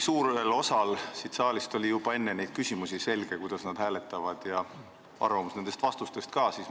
Suurel osal sellest saalist oli juba enne neid küsimusi selge, kuidas nad hääletavad, ja nende arvamus teie vastuste põhjal ei ole muutunud.